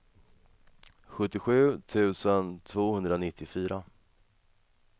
sjuttiosju tusen tvåhundranittiofyra